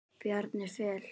Bjarni Fel.